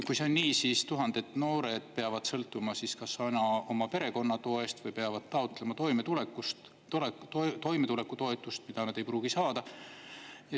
Kui see on nii, siis tuhanded noored peavad sõltuma siis kas oma perekonna toest või peavad taotlema toimetulekutoetust, mida nad ei pruugi saada.